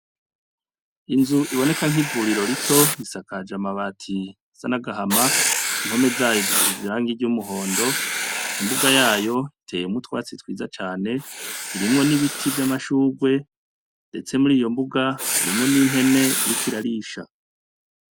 Inzu iboneka nkivuriro rito risakaje n' amabati asa nk' agahama impome zayo zisize irangi ry' umuhondo imbuga yayo iteyemwo utwatsi twiza cane irimwo n' ibiti vy' amashurwe ndetse muriyo mbuga harimwo n' impene iriko irarisha.